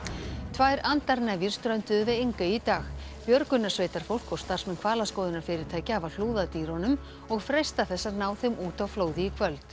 tvær strönduðu við Engey í dag björgunarsveitarfólk og starfsmenn hvalaskoðunarfyrirtækja hafa hlúð að dýrunum og freista þess að ná þeim út á flóði í kvöld